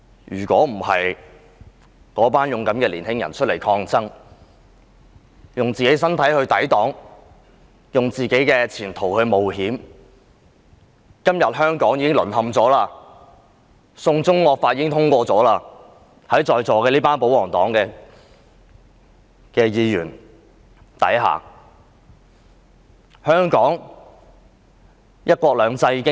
如果當天不是這群勇敢的青年人出來抗爭，用自己的身體抵擋惡法，用自己的前途冒險，香港今天便已經淪陷，"送中惡法"已於在座這群保皇黨議員手上獲得通過了。